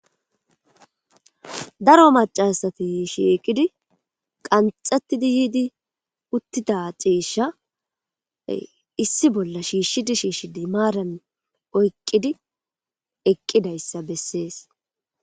Daro macasati shiiqidi qanxettidi yiidi uttida ciishsha issi bolla shiishshidi shiishshidi maaran oyqqidi eqqidayssa bessees